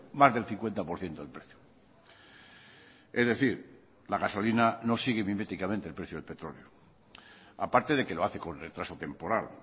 más del cincuenta por ciento del precio es decir la gasolina no sigue miméticamente el precio del petróleo aparte de que lo hace con retraso temporal